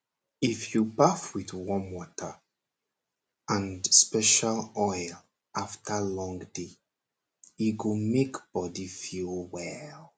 if you baff with warm water and special oil after long day e go make body feel well